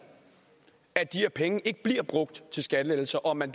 at de her penge ikke bliver brugt til skattelettelser og at man